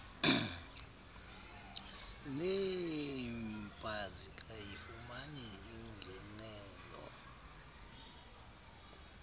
neeemp azikayifumani ingenelo